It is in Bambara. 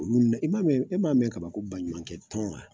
Olu i m'a mɛn, e m'a mɛn kaban ko ba ɲumankɛ tɔn wa ?